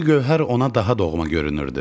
İndi Gövhər ona daha doğma görünürdü.